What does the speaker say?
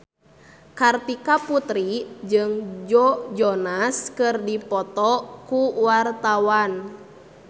Kartika Putri jeung Joe Jonas keur dipoto ku wartawan